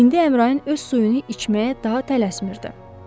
İndi Əmrain öz suyunu içməyə daha tələsmirdi.